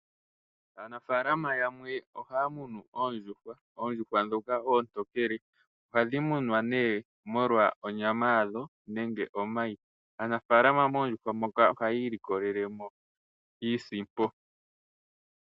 Aanafalama yamwe ohaya munu oondjuhwa, oondjuhwa ndhoka oontokele ohadhi munwa molwa onyama yadho nenge omayi aanafalama moondjuhwa ndhoka ohayi ilikolelemo iisimpo.